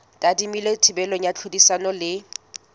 tadimilwe thibelo ya tlhodisano le